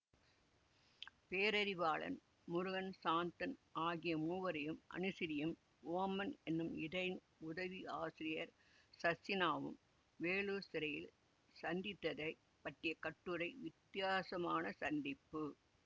பேரறிவாளன் முருகன் சாந்தன் ஆகிய மூவரையும் அனுசீரியும் ஓபன் என்னும் இதழின் உதவியாசிரியர் சர்சினாவும் வேலூர் சிறையில் சந்தித்ததைப் பற்றிய கட்டுரை வித்தியாசமான சந்திப்பு